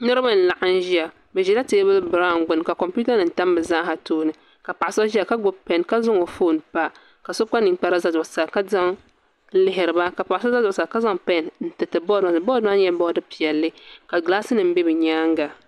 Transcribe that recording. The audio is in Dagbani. Niraba n laɣam ʒiya bi ʒila teebuli biraawn gbuni ka kompiuta nim tam bi zaaha tooni ka paɣa so ʒiya ka gbubi pɛn ka zaŋ o foon pa ka so kpa ninkpara ʒɛ zuɣusaa n lihiriba ka paɣa so ʒɛ zuɣusaa ka zaŋ pɛn n tiriti bood maa zuɣu bood maa nyɛla bood piɛlli ka gilaas nim bɛ di nyaanga